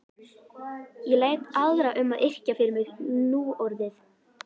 Ég læt aðra um að yrkja fyrir mig núorðið.